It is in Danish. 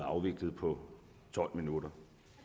afviklet på tolv minutter